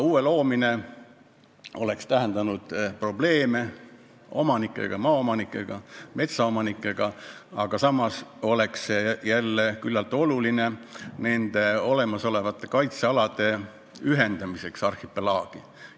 Uue loomine oleks tähendanud probleeme maaomanike ja metsaomanikega, samas oleks see jälle küllaltki oluline nende olemasolevate kaitsealade ühendamiseks arhipelaagi.